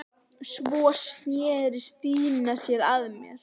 Svo sneri Stína sér að mér.